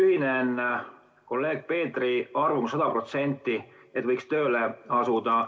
Ühinen kolleeg Peetri arvamusega sada protsenti, et võiks tööle asuda.